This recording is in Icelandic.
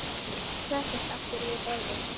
Settist aftur við borðið.